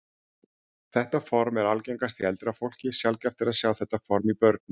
Þetta form er algengast í eldra fólki, sjaldgæft er að sjá þetta form í börnum.